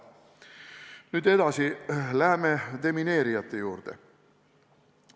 Nüüd edasi läheme demineerijate juurde.